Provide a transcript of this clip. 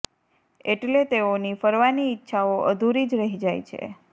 એટલે તેઓની ફરવાની ઈચ્છાઓ અધૂરી જ રહી જાય છે